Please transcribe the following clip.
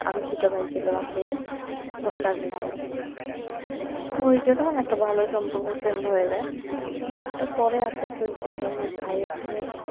আরও দুইটা ভাই ছিলো রাজশাহীতে মোট চারজন আমরা সো যেই কারনে একটা ভালো সম্পর্ক ফ্রেন্ড হয়ে যায় তো পরে আস্তে আস্তে দেখলাম যে ভাই হচ্ছে যে